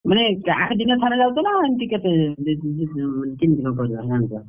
ମାନେ ଆଠ ଦିନରେ ଥରେ ଯାଉଛ ନା? ଏମିତି କେତେ ଦି ତିନି କେମତି କଣ ପରିବା ଆଣୁଛ?